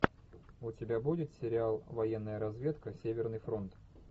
у тебя будет сериал военная разведка северный фронт